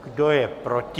Kdo je proti?